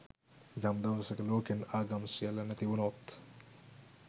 යම් දවසක ලෝකෙන් ආගම් සියල්ල නැති වුනොත්